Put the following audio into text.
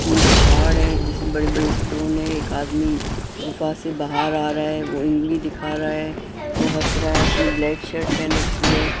एक पहाड़ है इसमें बड़ी बड़ी स्टोन है एक आदमी गुफा से बाहर आ रहा है वो उंगली दिखा रहा है वो हंस रहा है उसने ब्लैक शर्ट पहन रखी है।